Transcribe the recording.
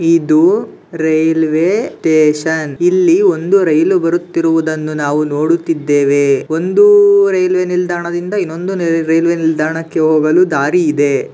ಇದು railway station ಇಲ್ಲಿ ಒಂದು ರೈಲು ಬರುತ್ತಿರುವುದನ್ನು ನಾವು ನೋಡುತಿದ್ದೇವೆ ಒಂದು ರೈಲ್ವೆ ನಿಲ್ದಾಣದಿಂದ ಇನ್ನೊಂದು ರೈಲು ನಿಲ್ದಾಣಕ್ಕೆ ಹೋಗಲು ದಾರಿ ಇದೆ.